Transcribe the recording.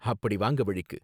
அப்படி வாங்க வழிக்கு